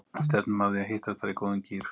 Stefnum að því að hittast þar í góðum gír!